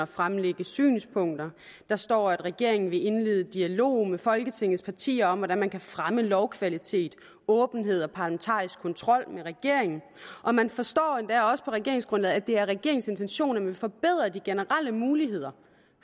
fremlægge synspunkter der står at regeringen vil indlede dialog med folketingets partier om hvordan man kan fremme lovkvalitet åbenhed og parlamentarisk kontrol med regeringen og man forstår endda også på regeringsgrundlaget at det er regeringens intention at man vil forbedre de generelle muligheder